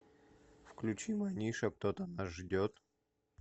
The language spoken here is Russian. включи манижа кто то нас ждет